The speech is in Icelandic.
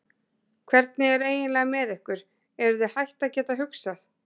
Hvernig er eiginlega með ykkur, eruð þið hætt að geta hugsað?